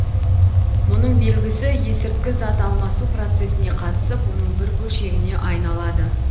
мұның белгісі есірткі зат алмасу процесіне қатысып оның бір бөлшегіне айналады